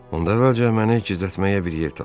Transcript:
Onda əvvəlcə məni gizlətməyə bir yer tapın.